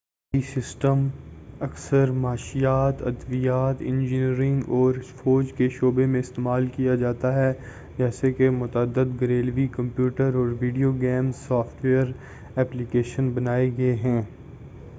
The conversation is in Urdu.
ابھی ai سسٹم اکثر معاشیات ادویات انجینئرنگ اور فوجی شعبے میں استعمال کیا جاتا ہے جیسے کہ متعدد گھریلو کمپیوٹر اور video game software application بنائے گئے ہیں